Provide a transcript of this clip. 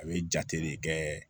A bɛ jate de kɛ